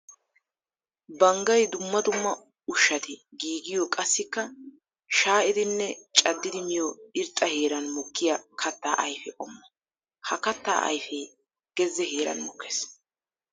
Banggay dumma dumma ushshati giigiyo qassikka shaa'iddinne caddidi miyo irxxa heeran mokkiya katta ayfe qommo. Ha katta ayfe geze heeran mokkes.